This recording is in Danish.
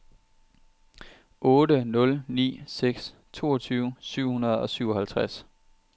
otte nul ni seks toogtyve syv hundrede og syvoghalvtreds